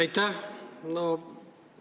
Aitäh!